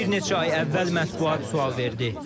Bir neçə ay əvvəl mətbuat sual verdi.